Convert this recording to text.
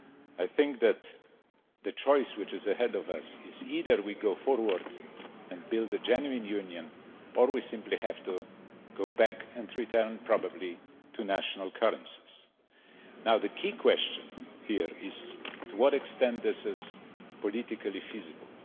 I think that the choice which is ahead of us is either we go forward and build a genuine union, or we simply have to go back and return probably to national currencies. Now, the key question here is to what extent is this politically feasible?